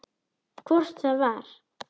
Hvort það var!